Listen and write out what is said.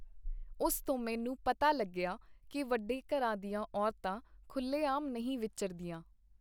ਉਸ ਤੋਂ ਮੈਨੂੰ ਪਤਾ ਲੱਗਿਆ ਕੀ ਵੱਡੇ ਘਰਾਂ ਦੀਆਂ ਔਰਤਾਂ ਖੁੱਲ੍ਹੇਆਮ ਨਹੀਂ ਵਿਚਰਦੀਆਂ.